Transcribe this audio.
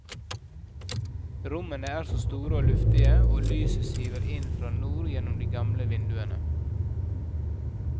Rommene er store og luftige, og lyset siver inn fra nord gjennom de gamle vinduene.